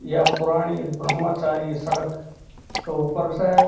यहाँ पुराणी ब्रह्मचारी सड़क के ऊपर स।